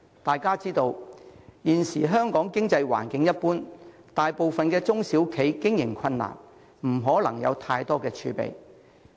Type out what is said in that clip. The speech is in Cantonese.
眾所周知，現時香港經濟環境一般，大部分中小企經營困難，不可能有太多儲備。